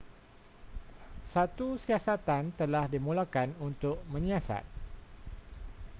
satu siasatan telah dimulakan untuk menyiasat